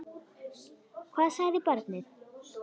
Hvað sagði barnið?